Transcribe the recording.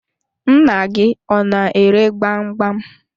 Nna gị ọ na-ere gbam gbam.